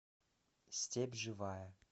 степь живая